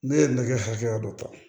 Ne ye nɛgɛ hakɛya dɔ ta